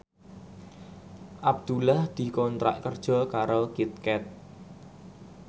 Abdullah dikontrak kerja karo Kit Kat